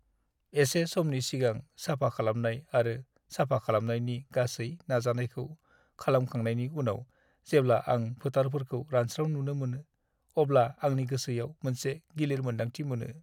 एसे समनि सिगां साफा खालामनाय आरो साफा खालामनायनि गासै नाजानायखौ खालामखांनायनि उनाव जेब्ला आं फोथारफोरखौ रानस्राव नुनो मोनो, अब्ला आंनि गोसोयाव मोनसे गिलिर मोनदांथि मोनो।